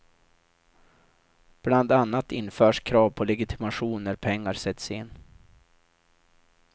Bland annat införs krav på legitimation när pengar sätts in.